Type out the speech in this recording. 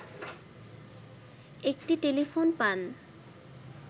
একটি টেলিফোন পান